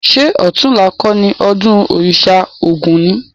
Ṣé ọ̀tunla kọ́ni ọdún òrìṣà ogún ni?